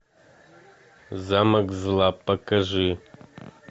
замок зла покажи